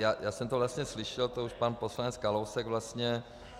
Já jsem to vlastně slyšel, to už pan poslanec Kalousek vlastně...